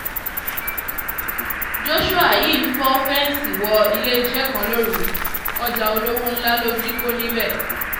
joshua yìí fọ́ fẹ́ǹsì wọ iléeṣẹ́ kan lóru ọjà olówó ńlá ló jí kó níbẹ̀